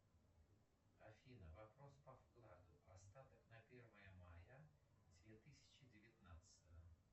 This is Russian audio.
афина вопрос по вкладу остаток на первое мая две тысячи девятнадцатого